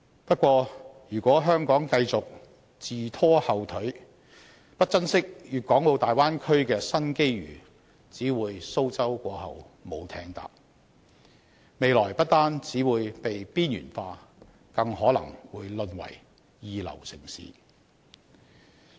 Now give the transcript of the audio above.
不過，如果香港繼續自拖後腿、不珍惜大灣區的新機遇，只會"蘇州過後無艇搭"，未來不單會被邊緣化，更可能會淪為二流城市。